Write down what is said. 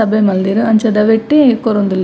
ಸಭೆ ಮಂದೆರ್ ಅಂಚಾದ್ ಅವೈಟೆ ಕೊರೊಂದುಲ್ಲೆರ್.